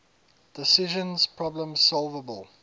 decision problems solvable